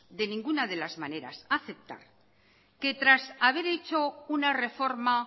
de ninguna de las maneras aceptar que tras haber hecho una reforma